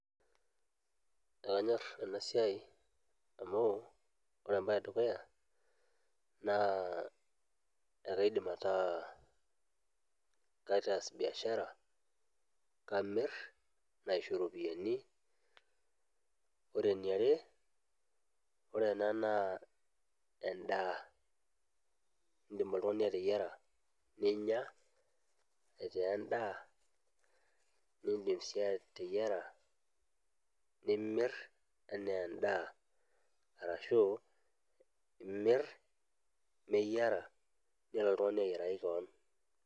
Kanyorr enasiai amu ore embae edukuya naa ekaidim ataa kaitaas biashara, kamirr naisho ropiyani. Ore eniare naa endaa indim oltung'ani ateyiara ninya aitaa endaa nindim si ateyiara nimirr anaa endaa ashu imirr meyiara nelo oltung'ani amiraki kewon.